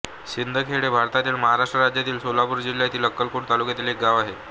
सिंदखेड हे भारतातील महाराष्ट्र राज्यातील सोलापूर जिल्ह्यातील अक्कलकोट तालुक्यातील एक गाव आहे